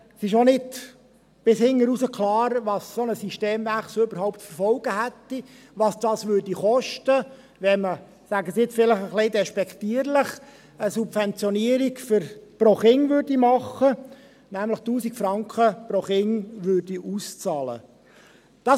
Es ist auch nicht ganz klar, was ein solcher Systemwechsel überhaupt für Folgen hätte, was dieser kosten würde, wenn man – ich sage das jetzt vielleicht etwas despektierlich – eine Subventionierung pro Kind machen würde, nämlich 1000 Franken pro Kind ausbezahlen würde.